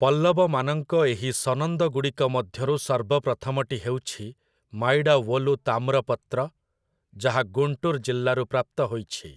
ପଲ୍ଲବମାନଙ୍କ ଏହି ସନନ୍ଦଗୁଡ଼ିକ ମଧ୍ୟରୁ ସର୍ବପ୍ରଥମଟି ହେଉଛି ମାୟିଡ଼ାୱୋଲୁ ତାମ୍ରପତ୍ର, ଯାହା ଗୁଣ୍ଟୁର ଜିଲ୍ଲାରୁ ପ୍ରାପ୍ତ ହୋଇଛି ।